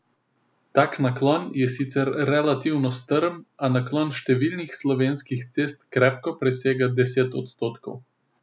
Tak naklon je sicer relativno strm, a naklon številnih slovenskih cest krepko presega deset odstotkov.